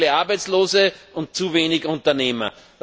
Wir haben zu viele Arbeitslose und zu wenig Unternehmer.